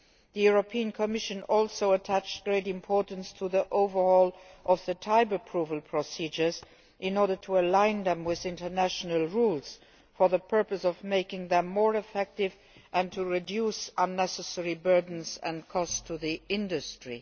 The European Commission also attached great importance to the overhaul of the type approval procedures in order to align them to international rules for the purpose of making them more effective and to reduce unnecessary burdens and cost to industry.